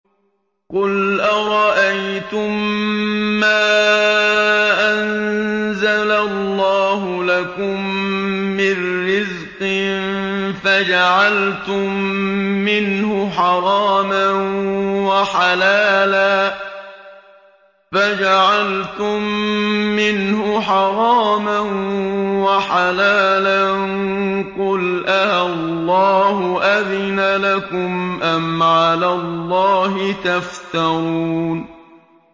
قُلْ أَرَأَيْتُم مَّا أَنزَلَ اللَّهُ لَكُم مِّن رِّزْقٍ فَجَعَلْتُم مِّنْهُ حَرَامًا وَحَلَالًا قُلْ آللَّهُ أَذِنَ لَكُمْ ۖ أَمْ عَلَى اللَّهِ تَفْتَرُونَ